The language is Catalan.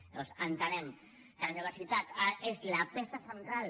llavors entenem que la universitat és la peça central